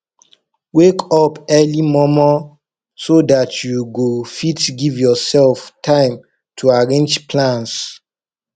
wake up early momo so dat you go fit giv urself time to arrange plans